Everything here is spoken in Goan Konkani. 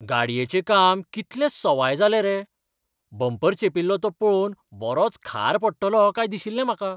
गाडयेचें काम कितलें सवाय जालें रे! बंपर चेंपिल्लो तो पळोवन बरोच खार पडटलो काय दिशिल्लें म्हाका.